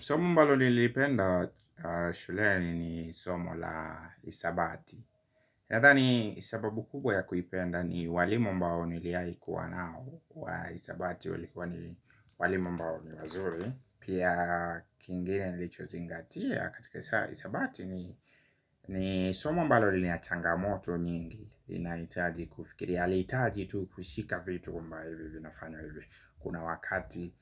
Somo ambalo nilipenda shuleni ni somo la hisabati. Nadhani sababu kubwa ya kuipenda ni walimu ambao niliwaikuwa nao wa hisabati walikuwa ni walimu ambao ni wazuri. Pia kingine nilichozingatia katika hisabati ni somo ambalo nila changamoto nyingi. Inaitaji kufikiri, haliitaji tu kushika vitu kumbaa hivyo vinafanya hivyo. Kuna wakati